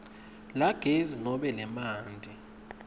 lagezi nobe emanti